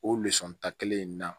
O ta kelen in na